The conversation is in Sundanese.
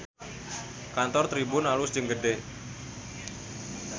Kantor Tribun alus jeung gede